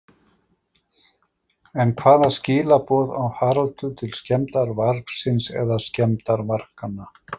En hvaða skilaboð á Haraldur til skemmdarvargsins eða skemmdarvarganna?